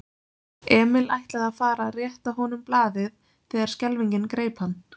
Emil ætlaði að fara að rétta honum blaðið þegar skelfingin greip hann.